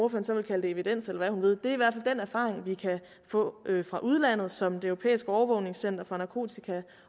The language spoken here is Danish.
kan så kalde det evidens eller hvad hun vil vi kan få fra udlandet som det europæiske overvågningscenter for narkotika